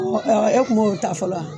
E tun b'o ta fɔlɔ wa